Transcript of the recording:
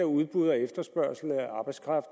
udbud og efterspørgsel af arbejdskraft